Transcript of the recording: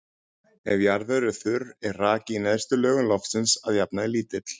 Ef jarðvegur er þurr er raki í neðstu lögum loftsins að jafnaði lítill.